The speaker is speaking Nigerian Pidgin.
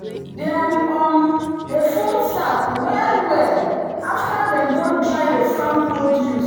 dem um dey fold sack well-well after dem don dry the farm produce.